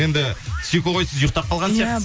енді сикоғой сіз ұйықтап қалған сияқтысыз